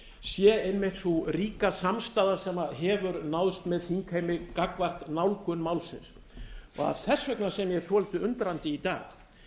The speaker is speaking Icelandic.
sé einmitt sú ríka samstaða sem hefur náðst með þingheimi gagnvart nálgun málsins og það er þess vegna sem ég er svolítið undrandi í dag